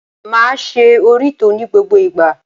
Máa ṣe òrítọ́ ní gbogbo ìgbà.